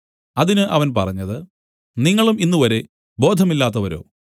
അതിന് അവൻ പറഞ്ഞത് നിങ്ങളും ഇന്നുവരെ ബോധമില്ലാത്തവരോ